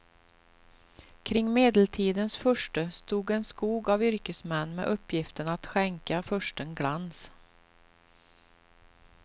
Kring medeltidens furste stod en skog av yrkesmän med uppgiften att skänka fursten glans.